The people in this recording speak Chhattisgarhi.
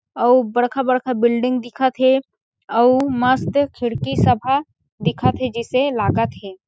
अउ बड़का-बड़का बिल्डिंग दिखत हे अउ मस्त खिड़की सब ह दिखत हे जइसे लागत हे ।--